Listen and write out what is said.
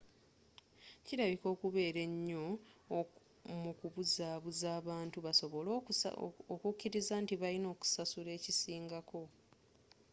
kirabika okubeera enyo mukubuzabuza abantu basobole okukiriza nti balina okusasula ekisingako